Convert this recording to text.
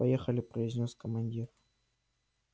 поехали произнёс командир